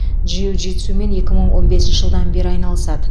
джиу джитсумен екі мың он бесінші жылдан бері айналысады